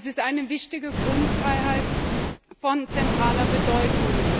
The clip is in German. Das ist eine wichtige Grundfreiheit von zentraler Bedeutung.